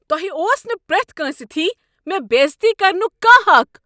تۄہہ اوس نہٕ پریتھ کٲنٛسہ تھی مےٚ بے عزتی کرنک کانٛہہ حق۔